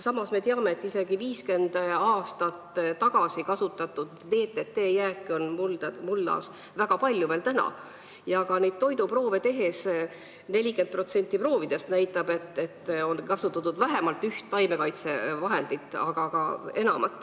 Samas me teame, et isegi 50 aastat tagasi kasutatud DDT jääke on mullas praegugi väga palju, 40% võetud toiduproovidest näitab, et kasutatud on vähemalt üht taimekaitsevahendit.